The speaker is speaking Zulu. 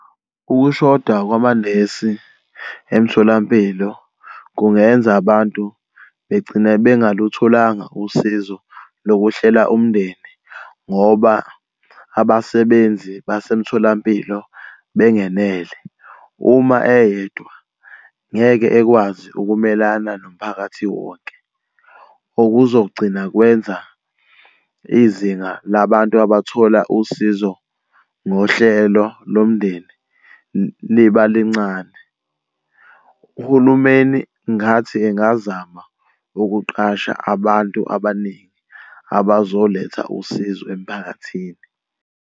Ukushoda kwamanesi emtholampilo kungenza abantu begcine bengalutholanga usizo lokuhlela umndeni ngoba abasebenzi basemtholampilo bengenele. Uma eyedwa ngeke ekwazi ukumelana nomphakathi wonke, okuzogcina kwenza izinga labantu abathola usizo ngohlelo lomndeni liba lincane. Uhulumeni ngingathi engazama ukuqasha abantu abaningi abazoletha usizo emphakathini.